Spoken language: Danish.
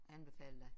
Anbefale dig